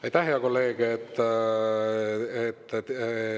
Aitäh, hea kolleeg!